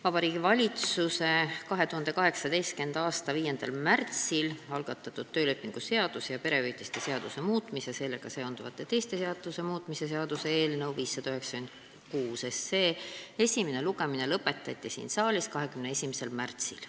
Vabariigi Valitsuse poolt 2018. aasta 5. märtsil algatatud töölepingu seaduse ning perehüvitiste seaduse muutmise ja sellega seonduvalt teiste seaduste muutmise seaduse muutmise seaduse eelnõu 596 esimene lugemine lõpetati siin saalis 21. märtsil.